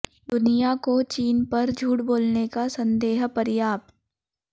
दुनिया को चीन पर झूठ बोलने का संदेह पर्याप्त